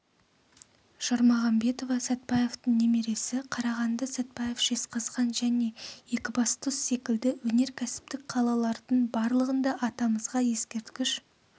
жармағамбетова сатпаевтың немересі қарағанды сәтпаев жезқазған және екібастұз секілді өнеркәсіптік қалалардың барлығын да атамызға ескерткіш